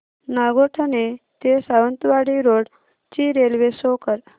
नागोठणे ते सावंतवाडी रोड ची railway show कर